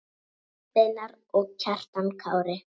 Jón Steinar og Kjartan Kári.